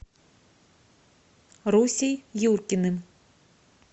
русей юркиным